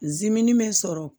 Zimini bɛ n sɔrɔ